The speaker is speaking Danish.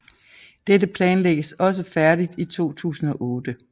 Dette planlægges også færdigt i 2008